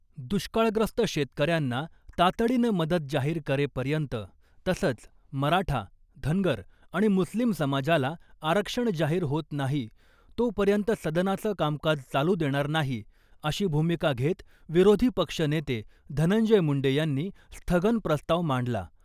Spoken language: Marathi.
दुष्काळग्रस्त शेतकऱ्यांना तातडीनं मदत जाहीर करेपर्यंत , तसंच मराठा , धनगर आणि मुस्लिम समाजाला आरक्षण जाहीर होत नाही तोपर्यंत सदनाचं कामकाज चालू देणार नाही , अशी भूमिका घेत विरोधी पक्षनेते धनंजय मुंडे यांनी स्थगन प्रस्ताव मांडला .